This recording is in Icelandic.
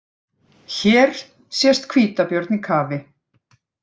Hér sést hvítabjörn í kafi.